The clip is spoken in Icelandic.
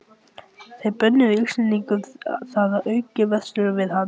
Þeir bönnuðu Íslendingum þar að auki að versla við hann.